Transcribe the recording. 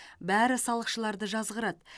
бәрі салықшыларды жазғырады